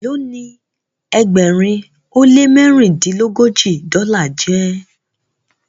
Elo ní ẹgbẹrin o le mẹrindilogoji dola jé?